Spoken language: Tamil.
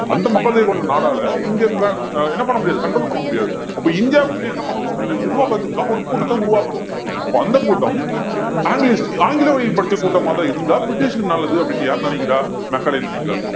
அந்த மக்கள் தொகை கொண்ட நாடால இங்க அஹ் என்ன பண்ண முடியாது control பண்ண முடியாது அப்ப இந்தியாவுக்குள்ள என்ன பண்ணணும் அப்படின்னா நிர்வாகத்துக்காக ஒரு கூட்டத்தை உருவாக்கணும் அப்ப அந்த கூட்டம் anglist ஆங்கில வழியில் படிச்ச கூட்டமாதான் இருந்தா பிரிட்டிஷ்க்கு நல்லது அப்படின்னு யார் நினைக்கிறா மெக்காலே நினைக்கிறாரு